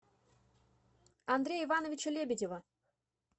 андрея ивановича лебедева